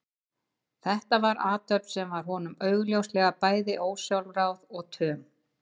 Þetta var athöfn sem var honum augljóslega bæði ósjálfráð og töm.